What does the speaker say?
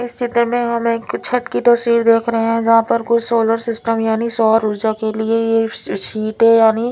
इस में हम एक छत की तस्वीर देख रहे है जहा पर कोई सोलर सिस्टम यानि सोर उर्जा के लिए ये सिट है यानी--